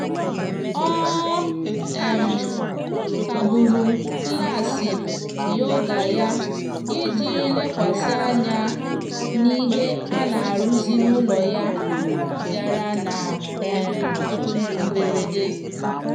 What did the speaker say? ọ um kagburu klaasị yoga ya iji lekwasị anya n'ihe a na-arụzi n'ụlọ ya bịara na um mberede.